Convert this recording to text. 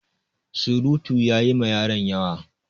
Surutu ya yi ma yaron yawa.